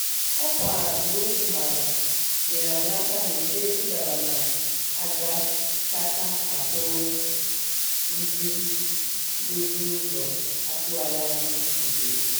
òkwa igwe okwu mara nyereanyi aka gbochie idaba na agakata akwúrú ndi ndozi úzò atúwagi anya butere.